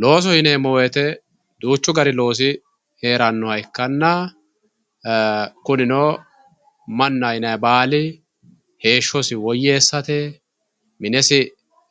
loosoho yonemo woyite duchu danihu heranna ee kunino manaho yinayi bali heshosi woyesatte minesi